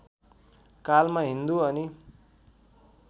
कालमा हिन्दु अनि